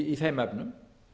í þeim efnum